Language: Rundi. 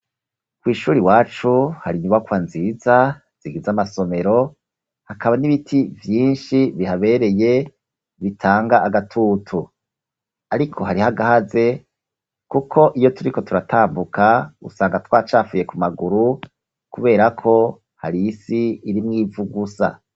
Kw'ishure iwacu hari inyubakwa nziza zigize amasomero hakaba n'ibiti vyinshi bihabereye bitanga agatutu. ariko hari hagahaze kuko iyo turiko turatambuka usanga twacafuye ku maguru kubera ko hari isi irimwo ivu gusa.